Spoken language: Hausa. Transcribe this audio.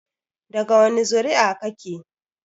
Daga wani zuri'a kake?